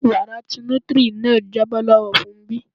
Wara ti nutri náà jábọ́ lọ́wọ Fúnmbí.